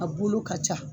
A bolo ka ca